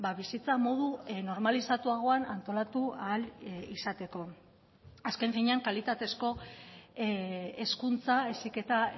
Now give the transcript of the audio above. bizitza modu normalizatuagoan antolatu ahal izateko azken finean kalitatezko hezkuntza heziketa